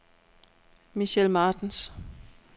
Michel Martens